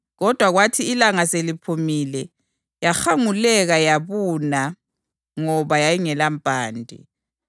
Kodwa kwathi ilanga seliphumile yahanguleka yabuna ngoba yayingelampande.